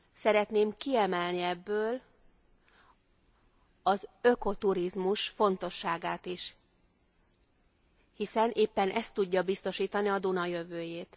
Szeretném kiemelni az ökoturizmus fontosságát is, hiszen éppen ez tudja biztosítani a Duna jövőjét.